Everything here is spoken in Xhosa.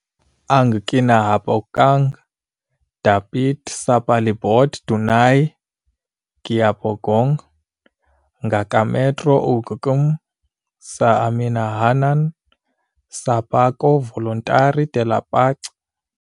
Ang kinahabogang dapit sa palibot dunay gihabogon nga ka metro ug km sa amihanan sa Parco Volontari della Pace.